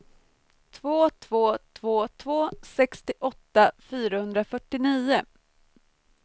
två två två två sextioåtta fyrahundrafyrtionio